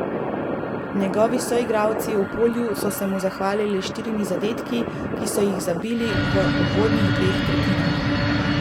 Njegovi soigralci v polju so se mu zahvalili s štirimi zadetki, ki so jih zabili v uvodnih dveh tretjinah.